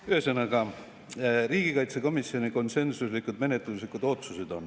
Ühesõnaga, riigikaitsekomisjon konsensuslikud menetluslikud otsused.